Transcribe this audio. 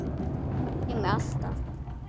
Ég gleymi alltaf.